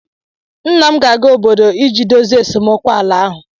Nna m ga-aga obodo iji dozie esemokwu ala ahụ